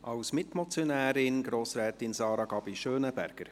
Als Mitmotionärin: Grossrätin Sarah Gabi Schönenberger.